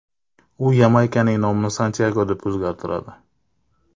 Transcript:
U Yamaykaning nomini Santyago deb o‘zgartiradi.